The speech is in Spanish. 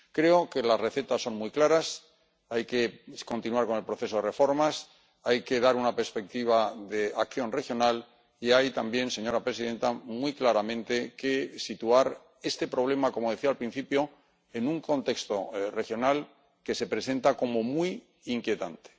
Creo que las recetas son muy claras hay que continuar con el proceso de reformas, hay que dar una perspectiva de acción regional y hay, también, señora presidenta, muy claramente que situar este problema —como decía al principio— en un contexto regional que se presenta como muy inquietante.